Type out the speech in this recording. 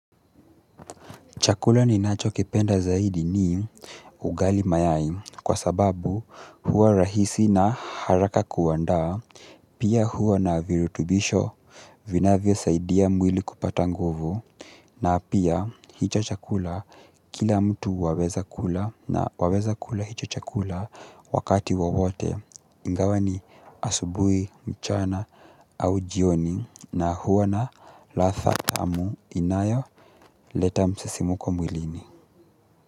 Chakula ninachokipenda zaidi ni ugali mayai kwa sababu huwa rahisi na haraka kuandaa, pia huwa na virutubisho vinavyosaidia mwili kupata nguvu na pia hicho chakula kila mtu waweza kula na waweza kula hicho chakula wakati wowote. Ingawa ni asubuhi mchana au jioni na huwa na ladha tamu inayoleta msisimko mwilini.